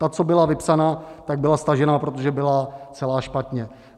Ta, co byla vypsaná, tak byla stažená, protože byla celá špatně.